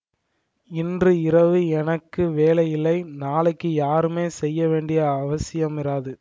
இன்று இரவு எனக்கு வேலையில்லை நாளைக்கு யாருமே செய்யவேண்டிய அவசியமிராது